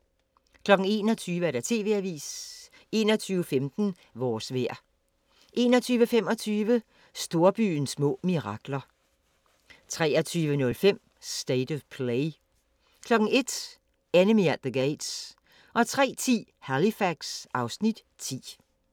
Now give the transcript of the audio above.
21:00: TV-avisen 21:15: Vores vejr 21:25: Storbyens små mirakler 23:05: State of Play 01:00: Enemy At The Gates 03:10: Halifax (Afs. 10)